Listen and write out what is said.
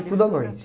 estuda à noite.